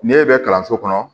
N'e bɛ kalanso kɔnɔ